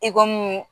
I komi